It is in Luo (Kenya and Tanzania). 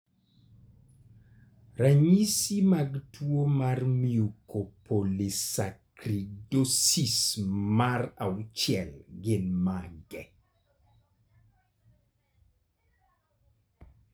Ranyisi mag tuwo mar Mucopolysaccharidosis mar VI gin mage?